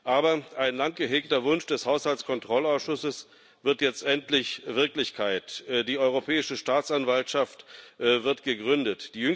Aber ein lang gehegter Wunsch des Haushaltskontrollausschusses wird jetzt endlich Wirklichkeit Die Europäische Staatsanwaltschaft wird gegründet.